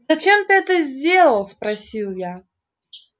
зачем ты это сделал спросил я